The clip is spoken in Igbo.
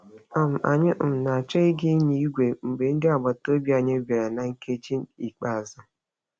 um Anyị um na-achọ ịga nyaa igwe mgbe ndị agbataobi anyị bara na nkeji ikpeazụ.